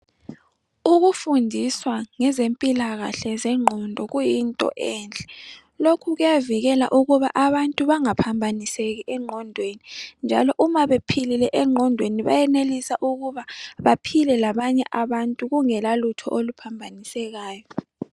Ukufundiswa ngezempilakahle zengqondo kuyinto enhle. Lokhu kuyavikela ukuba abantu bangaphambaniseki engqondweni, njalo uma bephilile engqondweni bayenelisa ukuba baphile labanye abantu kungelalutho oluphambanisekayo.